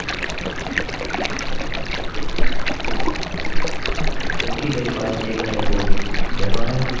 क्योंकि मेरे पास एक लाइन कोड यहाँ है और अन्य एक लाइन कोड यहाँ है